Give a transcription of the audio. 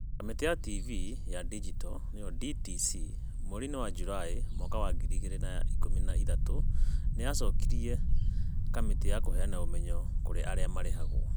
Kamĩtĩ ya TV ya Digito (DTC) mweri-inĩ wa Julaĩ mwaka wa ngiri igĩrĩ na ikũmi na ithatũ nĩ yacokirie kamĩtĩ ya Kũheana Ũmenyo kũrĩ Arĩa Marĩhagwo.